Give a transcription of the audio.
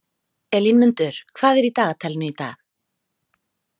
Elínmundur, hvað er í dagatalinu í dag?